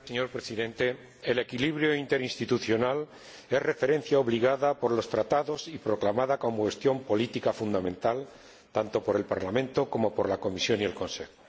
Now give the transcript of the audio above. Señor Presidente, el equilibrio interinstitucional es una referencia obligada por los Tratados y proclamada como cuestión política fundamental, tanto por el Parlamento como por la Comisión y el Consejo.